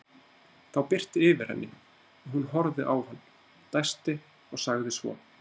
Þá birti yfir henni og hún horfði á hann, dæsti og sagði svo